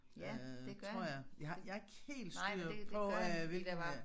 Øh tror jeg jeg har jeg har ikke helt styr på øh hvilke